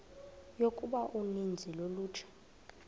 yokuba uninzi lolutsha